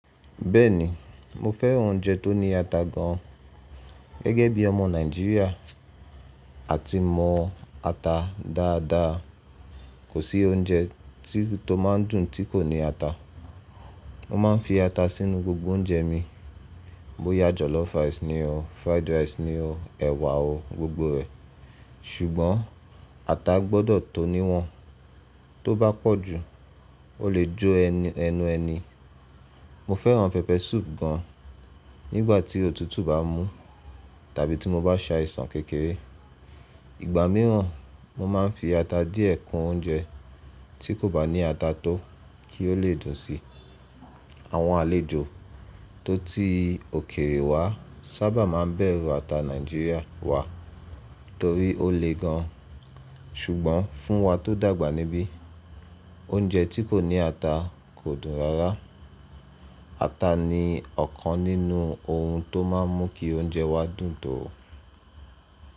Bẹ́ẹ̀ni, mo fẹ́ràn oúnjẹ tó ní ata gan an. Gẹ́gẹ́ bí ọmọ Nàìjíríà, a ti mọ ata dáadáa. Kò sí oúnjẹ tó máa ń dùn tí kò ní ata. Mo máa ń fi ata sínú gbogbo oúnjẹ mi. Bóyá jollof rice ni o, fried rice ni o, ẹ̀wà o, gbogbo rẹ̀. Ṣùgbọ́n ata gbọdọ̀ tó ní wọn, tó bá pọ̀ jù ó lè jó ẹnu ẹni. Mo fẹ́ràn pepper soup gan an nígbà tí òtútù bá mú tàbí tí mo bá sa ìsàn kékeré. Ìgbà mìíràn mo máa ń fi ata díẹ̀ kun oúnjẹ tí kò bá ní ata tó kí ó lè dùn sí i. Àwọn àlejò tó ti òkèèrè wá sábà máa ń bẹ̀rù ata Nàìjíríà wa torí ó le gan an. Ṣùgbọ́n fún wa tó dàgbà níbí, oúnjẹ tí kò ní ata kò dùn rárá. Ata ni ọ̀kan nínú ohun tó máa ń mú kí oúnjẹ wa dùn tó.